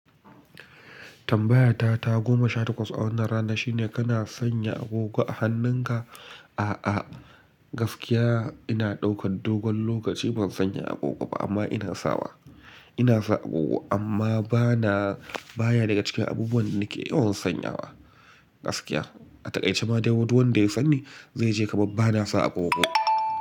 Tambaya ta goma sha takwas a wannan rana shine kana sanya agogo a hannun ka? A'a gaskiya ina daukar dogon lokaci ban sanya agogo ba amma ina sawa ina sa agogo amma bana baya daga cikin abubuwan da nake yawan sanyawa gaskiya. A takaice ma dai du wanda ya sani zai je kamar bana sa agogo.